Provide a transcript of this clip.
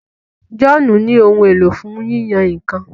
John ní Ohun èlò fún yíyan nǹkan.